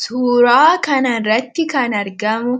Suuraa kan irratti kan argamu